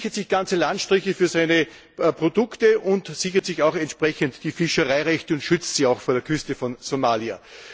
Er sichert sich ganze Landstriche für seine Produkte und sichert sich auch entsprechend die Fischereirechte und schützt diese auch vor der Küste von Somalia.